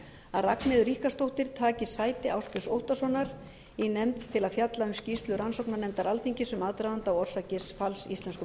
að ragnheiður ríkharðsdóttir taki sæti ásbjörns óttarssonar í nefnd til að fjalla um skýrslu rannsóknarnefndar alþingis um aðdraganda og orsakir falls íslensku